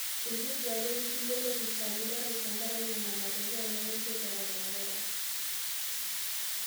Eitu eduaare lkulie lopisaani orais tenkaraki nena matokei nemesipa e coronavirus